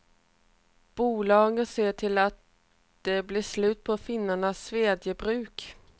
Bolaget ser till att det blir slut på finnarnas svedjebruk.